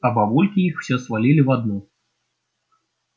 а бабульки их всё свалили в одну